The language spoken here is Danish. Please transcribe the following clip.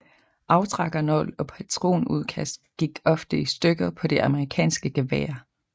Aftrækkernål og patronudkast gik ofte i stykker på de amerikanske geværer